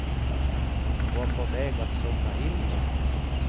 Hon var på väg att somna in igen.